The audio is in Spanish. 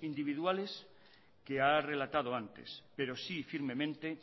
individuales que ha relatado antes pero sí firmemente